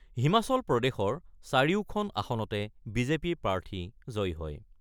হিমাচল প্ৰদেশৰ চাৰিওখন আসনতে বিজেপি প্ৰাৰ্থী জয়ী হয়।